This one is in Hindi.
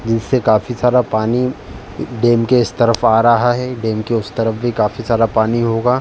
इससे काफी सारा पानी डैम के इस तरफ आ रहा है डैम के उस तरफ भी काफी सारा पानी होगा।